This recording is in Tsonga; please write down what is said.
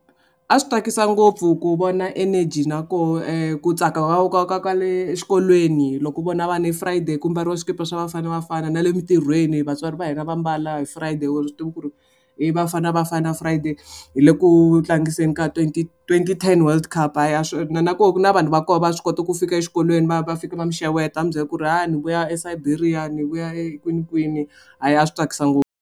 A swi tsakisa ngopfu ku vona energy na koho ku tsaka ka ka ka le exikolweni loko u vona vanhu hi Friday ku mbariwa swikipa swa Bafana Bafana na le mintirhweni vatswari va hina va mbala hi Friday wu swi tivi ku ri i vafana vafana Friday hi le ku tlangiseni ka twenty twenty ten world cup swi na ko ku na vanhu va kona va swi kota ku fika exikolweni va va fika va mi xeweta a mi byela ku ri hayi ni vuya eSiberia ni vuya e kwinikwini hayi a swi tsakisa ngopfu.